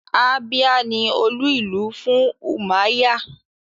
Abia ni olú-ìlú fún Umuahia